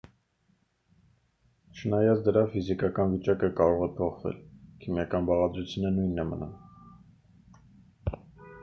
չնայած դրա ֆիզիկական վիճակը կարող է փոխվել քիմիական բաղադրությունը նույնն է մնում